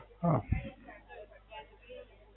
હા.